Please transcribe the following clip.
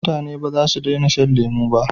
Mutane bazasu dena shan lemo ba